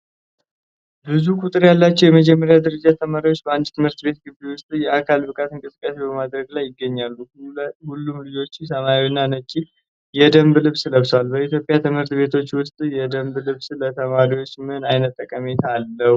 ብዙ ቁጥር ያላቸው የመጀመሪያ ደረጃ ተማሪዎች በአንድ ትምህርት ቤት ግቢ ውስጥ የአካል ብቃት እንቅስቃሴ በማድረግ ላይ ይገኛሉ። ሁሉም ልጆች ሰማያዊና ነጭ የደንብ ልብስ ለብሰዋል። በኢትዮጵያ ትምህርት ቤቶች ውስጥ የደንብ ልብስ ለተማሪዎች ምን ዓይነት ጠቀሜታ አለው?